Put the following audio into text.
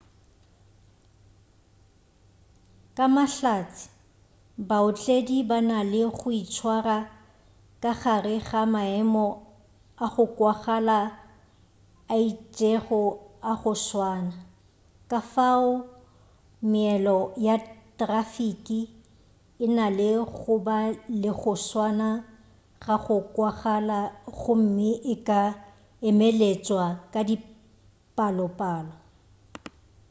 ka mahlatse baotledi ba na le go itshwara ka gare ga maemo a go kwagala a itšego a go swana kafao meelo ya trafiki e na le go ba le go swana ga go kwagala gomme e ka emeletšwa ka dipalopalo